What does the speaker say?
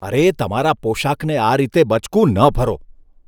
અરે, તમારા પોશાકને આ રીતે બચકું ન ભરો.